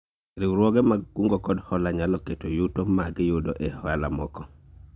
Riwruoge mag kungo kod hola nyalo keto yuto magiyudo e ohala moko